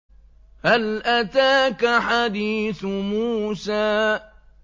هَلْ أَتَاكَ حَدِيثُ مُوسَىٰ